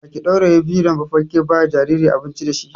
Baki ɗauraye fidar ba kike ba ma jinjirin abinci dashi.